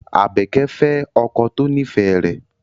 Abeke fe oko to nife re